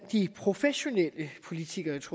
de professionelle politikeres